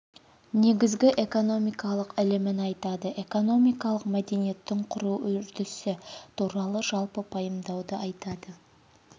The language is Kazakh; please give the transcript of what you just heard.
негізгі экономикалық ілімін атайды экономикалық мәдениеттің құру үрдісі туралы жалпы пайымдауды айтады